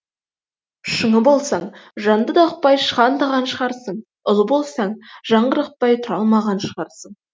шыңы болсаң жанды да ұқпай шығандағаншығарсың ұлы болсаң жаңғырықпай тұра алмаған шығарсың